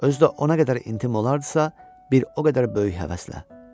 Özü də o qədər intim olardısa, bir o qədər böyük həvəslə.